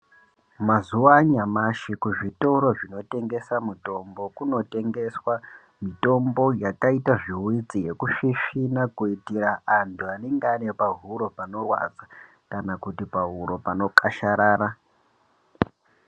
Mazuva anyamashi kuzvitoro zvinotengeswa mitombo kunotengeswa mitombo yakaita zvihwitsi yekusvisvina kuitira antu anenge ane pahuro panorwadza kana kuti pahuro panokasharara.